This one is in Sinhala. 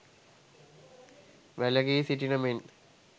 වැළකී සිටින මෙන්